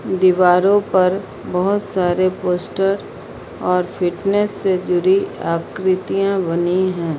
दीवारों पर बहुत सारे पोस्टर और फिटनेस से जुड़ी आकृतियां बनी हैं।